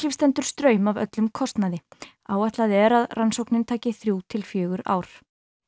stendur straum af öllum kostnaði áætlað er að rannsóknin taki þrjú til fjögur ár